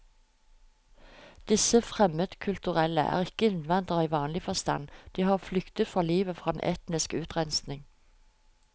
Disse fremmedkulturelle er ikke innvandrere i vanlig forstand, de har flyktet for livet fra en etnisk utrenskning.